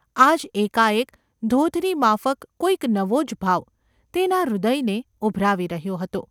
આજ એકાએક ધોધની માફક કોઈક નવો જ ભાવ તેના હૃદયને ઊભરાવી રહ્યો હતો.